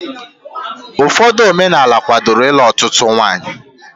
Ụfọdụ omenaala kwádoro ịlụ ọtụtụ nwaanyị